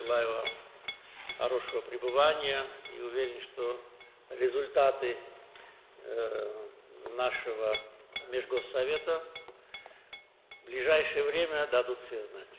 Sizə yaxşı istirahət arzulayıram və əminəm ki, dövlətlərarası şuramızın nəticələri yaxın vaxtlarda özünü göstərəcək.